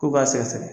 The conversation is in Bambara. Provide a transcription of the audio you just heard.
Ko b'a sɛgɛsɛgɛ